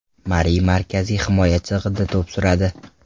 Mari markaziy himoya chizig‘ida to‘p suradi.